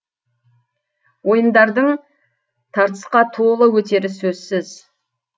ойындардың тартысқа толы өтері сөзсіз